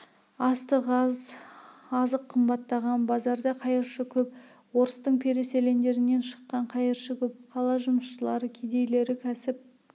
астық аз азық қымбаттаған базарда қайыршы көп орыстың переселендерінен шыққан қайыршы көп қала жұмысшылары кедейлері кәсіп